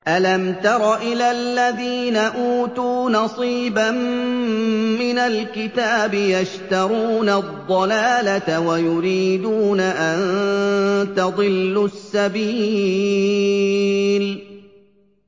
أَلَمْ تَرَ إِلَى الَّذِينَ أُوتُوا نَصِيبًا مِّنَ الْكِتَابِ يَشْتَرُونَ الضَّلَالَةَ وَيُرِيدُونَ أَن تَضِلُّوا السَّبِيلَ